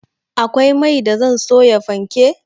Akwai mai da zan soya fanke